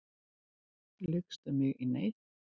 Lykst um mig í neyð.